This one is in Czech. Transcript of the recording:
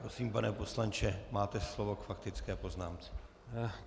Prosím, pane poslanče, máte slovo k faktické poznámce.